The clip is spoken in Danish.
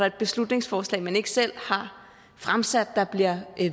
et beslutningsforslag man ikke selv har fremsat der bliver